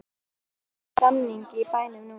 Ásgeir, er stemning í bænum núna?